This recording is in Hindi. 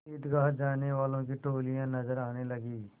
ईदगाह जाने वालों की टोलियाँ नजर आने लगीं